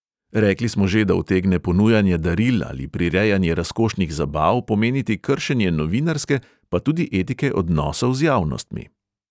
Rekli smo že, da utegne ponujanje daril ali prirejanje razkošnih zabav pomeniti kršenje novinarske, pa tudi etike odnosov z javnostmi.